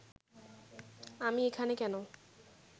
আমি এখানে কেন